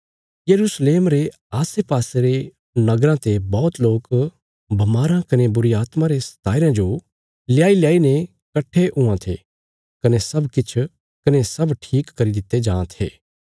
यरूशलेम रे आसेपासे रे नगराँ ते बौहत लोक बमाराँ कने बुरीआत्मा रे सताई रयां जो ल्याईल्याईने कट्ठे हुआं थे कने सब ठीक करी दित्ते जां थे